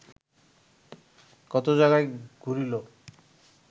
কত জায়গায় ঘুরিল